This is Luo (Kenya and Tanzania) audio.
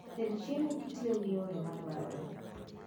Ted chiemo kitiyo gi yore madwarore